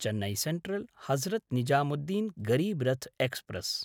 Chennai सेन्ट्रल्–हजरत् Nizamuddin Garib Rath express